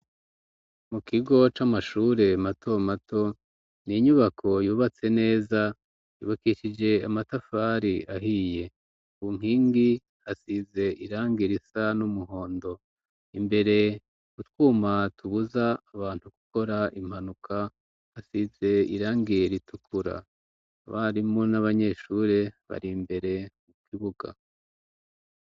Mu kigo c'amashure mato mato ni inyubako yubatse neza yubakishije amatafari ahiye ubunkingi hasize irangira isa n'umuhondo imbere gutwuma tubuza abantu gukora impanuka hasize irangire ituku ra barimo n'abanyeshure bari imbere ukibuga.